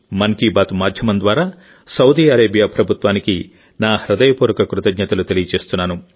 మన్ కీ బాత్ మాధ్యమం ద్వారా Saudi Arabia ప్రభుత్వానికి నా హృదయపూర్వక కృతజ్ఞతలు తెలియజేస్తున్నాను